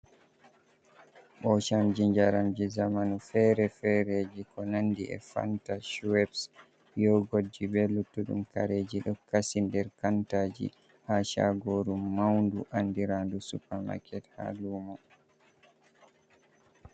Ɓo chamji jaramji zamanu fere fereji ko nandi é fanta, shwebs, yogotji, be luttudum kareji do kasi der kantaji ha chagoru maundu andirandu supermaket ha lumo.